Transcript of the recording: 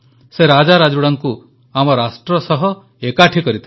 ସେ ରାଜାରାଜୁଡ଼ାଙ୍କୁ ଆମ ରାଷ୍ଟ୍ର ସହ ଏକାଠି କରିଥିଲେ